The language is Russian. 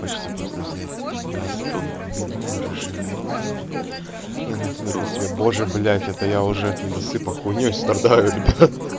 хочется просто взять тебя за твои длинные рыжие локоны и натянуть на себя боже блять это я уже от недосыпа хуйнёй страдаю ребят